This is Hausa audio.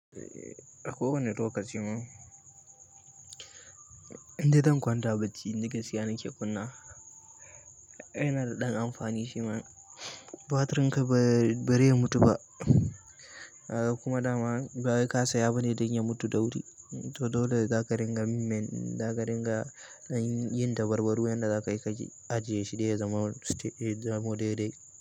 A kowane lokaci ne, inde zan kwanta bacci ni da gaskiya nake kunna. Yana da ɗan amfani shi man, batrinka bare mutu ba kuma dama ba wai ka saya bane dan ya mutu da wuri. To dole za ka rinƙa yin men, zaka rinƙa yin dabarbaru yanda za kai kaji a jiye shi dai ya zama, ya zamo daidai.